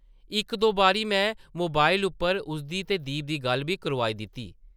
इक-दो बारी में मोबाइल उप्पर उसदी ते दीप दी गल्ल बी करोआई दित्ती ।